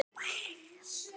Ég les aldrei þetta blað.